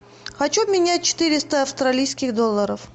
хочу обменять четыреста австралийских долларов